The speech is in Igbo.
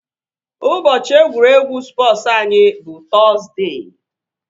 Ụbọchị egwuregwu spọsu anyị bụ Tọzdee